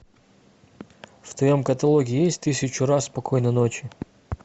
в твоем каталоге есть тысячу раз спокойной ночи